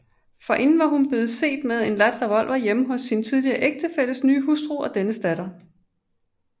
Forinden var hun blevet set med en ladt revolver hjemme hos sin tidligere ægtefælles nye hustru og dennes datter